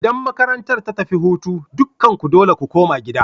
Idan makarantar ta tafi hutu, dukanku dole ku koma gida!